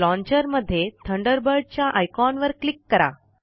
launcher मध्ये Thunderbird च्या icon वर क्लिक करा